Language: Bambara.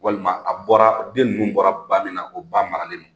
Walima a bɔra, den ninnu bɔra ba min na, o ba maralen don.